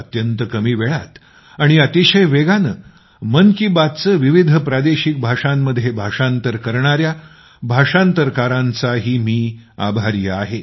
अत्यंत कमी वेळात आणि अतिशय वेगाने मन की बातचे विविध प्रादेशिक भाषांमध्ये भाषांतर करणाऱ्या भाषांतरकारांचाही मी आभारी आहे